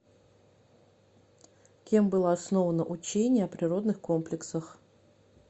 кем было основано учение о природных комплексах